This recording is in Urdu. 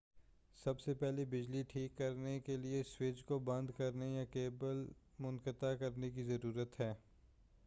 سب سے پہلے بجلی ٹھیک کرنے کے لئے سوئچ کو بند کرنے یا کیبل منقطع کرنے کی ضرورت ہے